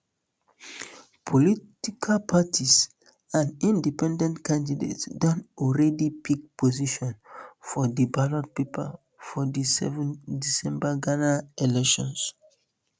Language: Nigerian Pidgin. political parties and independent candidates don alreadi pick position for di ballot paper for di seven december um ghana elections